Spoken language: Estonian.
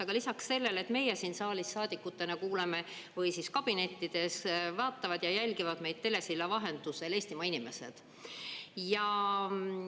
Aga lisaks sellele, et meie saadikutena siin saalis või kabinettides kuulame, vaatavad ja jälgivad meid telesilla vahendusel Eestimaa inimesed.